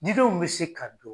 Didenw be se ka don.